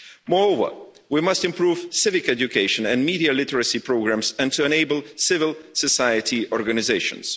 Moreover, we must improve civic education and media literacy programmes and enable civil society organisations.